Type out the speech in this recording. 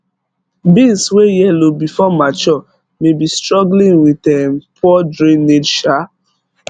beans wey yellow before mature may be struggling with um poor drainage um